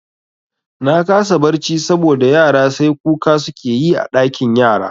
Na kasa barci saboda yara sai kuka suke yi a ɗakin yara